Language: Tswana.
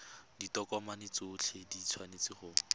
ditokomane tsotlhe di tshwanetse go